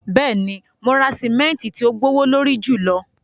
Bẹ́ẹ̀ni, mo ra simẹntì ti ò gbowolorí júlọ